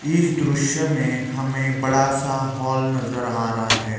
इस दृश्य में हमें बड़ा सा हॉल नजर आ रहा हैं।